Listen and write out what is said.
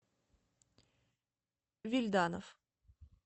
вильданов